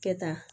Kɛ tan